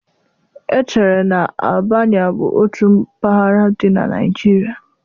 Echere na Albania bụ otu mpaghara dị na Nigeria.